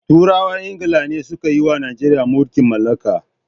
Turawan ingila ne suka yiwa Najeriya mulkin mallaka.